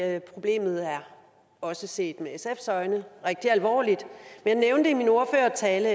at problemet også set med sfs øjne er rigtig alvorligt jeg nævnte i min ordførertale